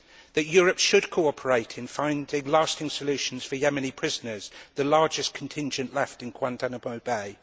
That Europe should cooperate in finding lasting solutions for Yemeni prisoners, the largest contingent left in Guantánamo Bay.